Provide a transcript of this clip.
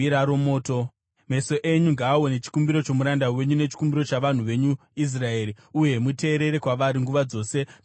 “Meso enyu ngaaone chikumbiro chomuranda wenyu nechikumbiro chavanhu venyu Israeri, uye muteerere kwavari nguva dzose pavanochema kwamuri.